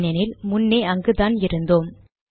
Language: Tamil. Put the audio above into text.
ஏனெனில் முன்னே அங்குதான் இருந்தோம்